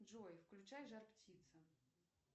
джой включай жар птица